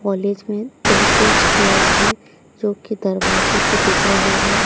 College में दो तीन स्टेयर्स है जोकि दरवाजे से दिख रहे हैं।